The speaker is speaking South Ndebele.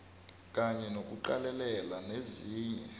kanye nokuqalelela nezinye